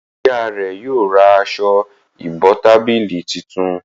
ìyá rẹ yóò rá Aṣọ ìbotábílì títún